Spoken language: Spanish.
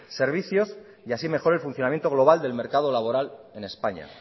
servicios y así mejore el funcionamiento global del mercado laboral en españa